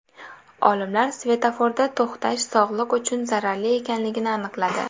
Olimlar svetoforda to‘xtash sog‘liq uchun zararli ekanligini aniqladi.